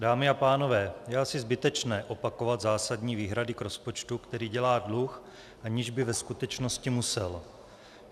Dámy a pánové, je asi zbytečné opakovat zásadní výhrady k rozpočtu, který dělá dluh, aniž by ve skutečnosti musel.